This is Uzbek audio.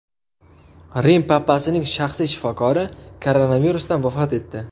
Rim papasining shaxsiy shifokori koronavirusdan vafot etdi.